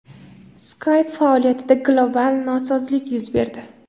Skype faoliyatida global nosozlik yuz berdi.